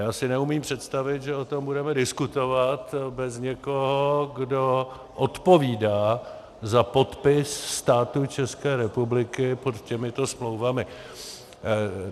Já si neumím představit, že o tom budeme diskutovat bez někoho, kdo odpovídá za podpis státu České republiky pod těmito smlouvami.